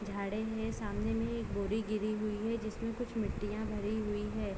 झाड़े हैं सामने में एक बोरी गिरी हुई है जिसमें कुछ मिट्टियां भरी हुई है।